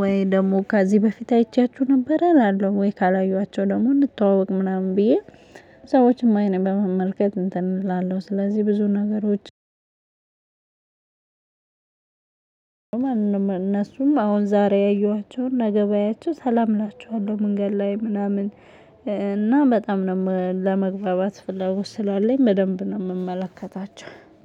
ወይ ደግሞ ከዚህ በፊት አይቻችሁ ነበር እላለሁ ወይ ካላየኋቸው ደግሞ እንተዋወቅ ምናምን ብዬ። ሰዎችም አይኔን በመመልከት እንትን እላለሁ ስለዚህ ብዙ ነገሮች። እነሱም አሁን ዛሬ ያየኋቸውን ነገ ባያቸው ሰላም እላቸዋለው መንገድ ላይ ምናምን። እና በጣም ነው ለመግባባት ፍለጎት ስላለኝ በደንብ ነው እምመለከታቸው